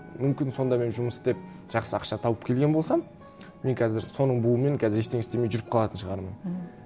мүмкін сонда мен жұмыс істеп жақсы ақша тауып келген болсам мен қазір соның буымен қазір ештеңе істемей жүріп қалатын шығармын мхм